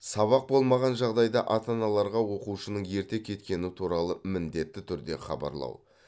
сабақ болмаған жағдайда ата аналарға оқушының ерте кеткені туралы міндетті түрде хабарлау